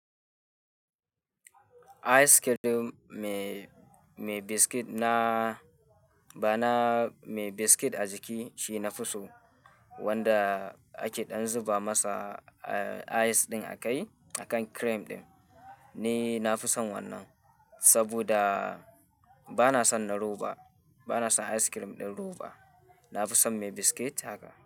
Ice cream mai biscuit na, bana mai biscuit a jiki shine na fi so wanda a ke dan zuba masa ice cream a kai akan cream ɗin ne. Na fi son wannan saboda bana son na roba, bana son ice cream ɗin roba. Na fi son mai biscuit haka.